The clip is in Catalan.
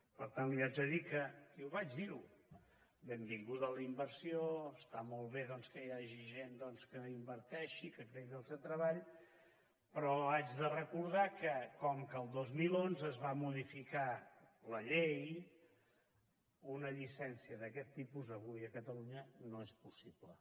per tant li haig de dir que i vaig dir ho benvinguda la inversió està molt bé doncs que hi hagi gent que inverteixi que creï llocs de treball però haig de recordar que com que el dos mil onze es va modificar la llei una llicència d’aquest tipus avui a catalunya no és possible